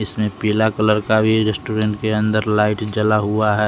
इसमें पीला कलर का भी रेस्टोरेंट के अंदर लाइट जला हुआ है।